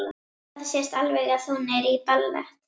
Það sést alveg að hún er í ballett.